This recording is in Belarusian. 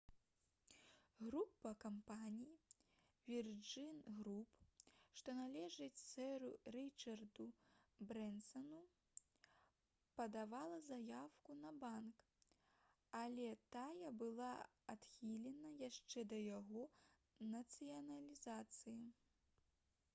група кампаній «вірджын груп» што належыць сэру рычарду брэнсану падавала заяўку на банк але тая была адхілена яшчэ да яго нацыяналізацыі